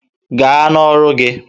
Gaa n'ọrụ gị!